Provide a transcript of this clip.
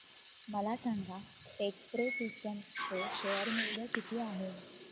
मला सांगा Techpro systems चे शेअर मूल्य किती आहे